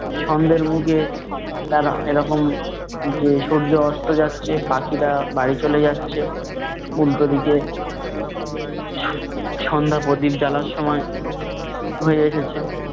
সন্ধ্যের মুখে তারা এরকম যে সূর্য অস্ত যাচ্ছে, পাখিরা বাড়ি চলে যাচ্ছে। উল্টোদিকে সন্ধ্যা প্রদীপ জ্বালার সময় হয়ে এসেছে